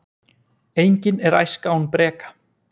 Engin er æska án breka.